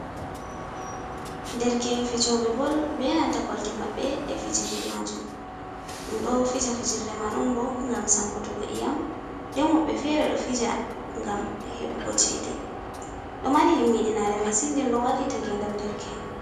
Ɗerke en fijobe bol. Be nanta kolte mabbe ɗe fijirɗe majum. Ɗum ɗo fija fijirɗe man on bo ngam sankutugo iyam. Nɗen wobbe fere ɗo fija ngam hebugo ceɗe. Ɗo mari himmiɗinare masin. Nɗen ɗo wallita ngenɗam ɗerke en.